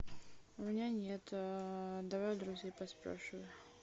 у меня нет давай у друзей поспрашиваю